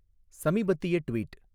சமீபத்திய ட்வீட்